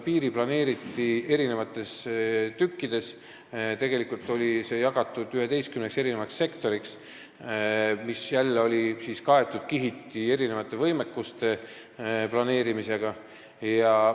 Piir oli planeeritud mitmes tükis, see oli jagatud 11 sektoriks, mis olid kihiti kaetud erinevate võimekustega.